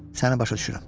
Səni başa düşürəm.